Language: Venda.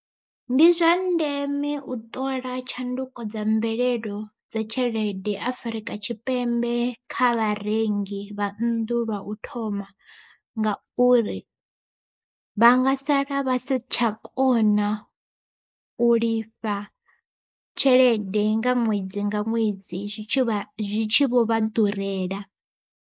Ndi zwa ndeme u ṱola tshanduko dza mvelelo dza tshelede Afrika Tshipembe kha vharengi vha nnḓu lwa u thoma. Ngauri vha nga sala vha si tsha kona u lifha tshelede nga ṅwedzi nga ṅwedzi zwi tshi vho vha ḓurela.